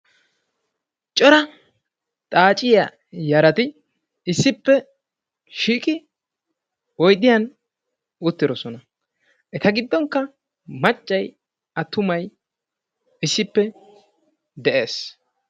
cora xaacciya yaratti issippe shiiqi oyddiya uttidoosona. eta gidonkka maccay attumay issippe de'ees